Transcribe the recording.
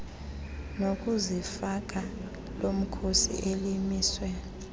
nokuzifaka lomkhosi elimiswe